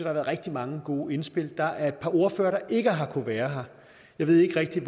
har været rigtig mange gode indspil der er et par ordførere der ikke har kunnet være her jeg ved ikke rigtig